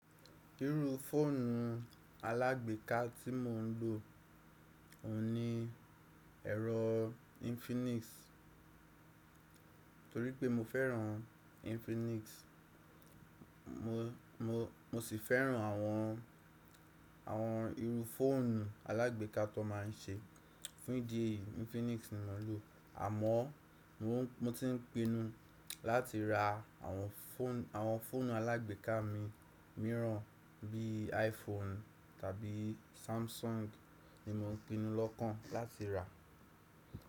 Irú fóònù alágbèéká tí mo ń lò, òun ni ẹ̀rọ Infinix torípé mo fẹ́ràn Infinix. Mo, mo, mo sì fẹ́ràn àwọn, àwọn irú fóònù alágbèéká tó ń ma ń ṣe. Fún ìdí èyí Infinix ni mo ń lò. Àmọ́ mo ti ń pinu láti ra àwọn fóònù, àwọn fóònù alágbèéká mi, mìíràn bí iPhone tàbí Samsung ni mo ń pinu lọ́kàn láti ra.